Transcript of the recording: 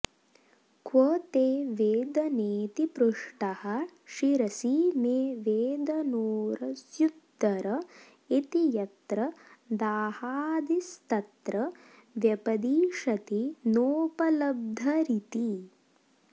क्व ते वेदनेति पृष्टः शिरसि मे वेदनोरस्युदर इति यत्र दाहादिस्तत्र व्यपदिशति नोपलब्धरीति